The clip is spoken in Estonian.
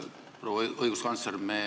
Proua õiguskantsler!